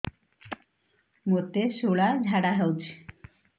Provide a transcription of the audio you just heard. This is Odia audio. ମୋତେ ଶୂଳା ଝାଡ଼ା ହଉଚି